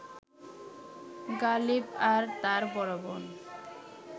গালিব আর তার বড় বোন